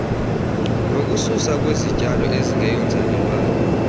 nokususwa kwezityalo ezingeyonzalelwane